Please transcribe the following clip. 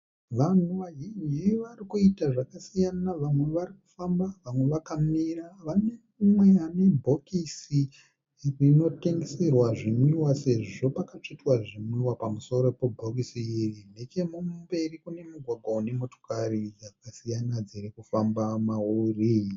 Vanhu vazhinji varikuita zvakasiyana vamwe varikufamba vamwe vakamira. Pane mumwe anebhokisi rinotengeserwa zvinwiwa sezvo pakatsvetwa zvinwiwa pamusoro pebhokisi iri. Nechekumberi kune mugwagwa unemotokari dzakasiyana dzirikufamba mauri.